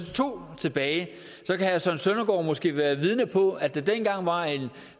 to tilbage så kan herre søren søndergaard måske være vidne på at der dengang var en